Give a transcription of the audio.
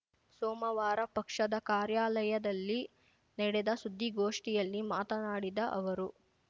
ಸೋಮವಾರ ಪಕ್ಷದ ಕಾರ್ಯಾಲಯದಲ್ಲಿ ನಡೆದ ಸುದ್ದಿಗೋಷ್ಠಿಯಲ್ಲಿ ಮಾತನಾಡಿದ ಅವರು